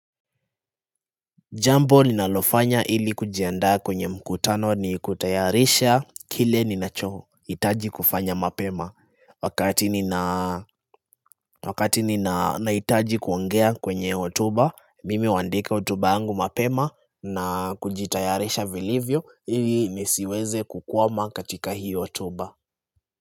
Jambo ninalofanya ili kujiandaa kwenye mkutano ni kutayarisha kile ninachohitaji kufanya mapema Wakati ninahitaji kuongea kwenye hotuba. Mimi huandika hotuba yangu mapema na kujitayarisha vilivyo, ili nisiweze kukwama katika hiyo hotuba.